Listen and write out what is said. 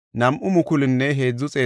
Hashuma yarati 328;